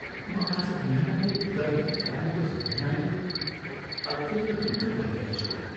म आज बिहानको गर्हित कार्यको सम्झनाले अत्यन्त दुःखित भइरहेछु।